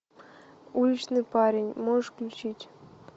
уличный парень можешь включить